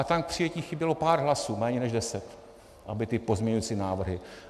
A tam k přijetí chybělo pár hlasů, méně než deset, aby ty pozměňující návrhy...